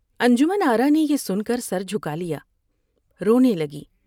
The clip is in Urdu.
انجمن آرا نے بین کر سر جھکالیا ، رونے لگی ۔